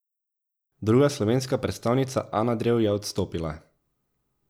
Druga slovenska predstavnica Ana Drev je odstopila.